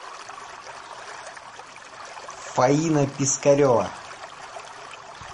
фаина пескарева